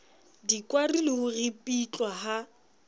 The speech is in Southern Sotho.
dikwari le ho ripitlwa ha